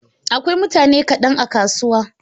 Akwai mutane kaɗan a kasuwa.